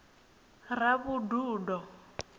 ravhududo